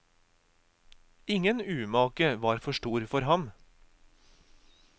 Ingen umake var for stor for ham.